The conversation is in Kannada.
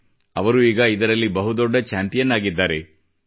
ಈಗ ಅವರು ಈ ನಿಟ್ಟಿನಲ್ಲಿ ಬಹುದೊಡ್ಡ ಚಾಂಪಿಯನ್ ಆಗಿದ್ದಾರೆ